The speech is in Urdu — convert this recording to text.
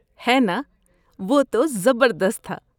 ہے نا! وہ تو زبردست تھا۔